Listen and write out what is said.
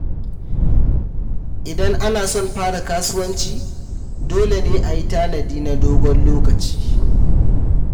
Idan ana son fara kasuwanci, dole ne a yi tanadi na dogon lokaci.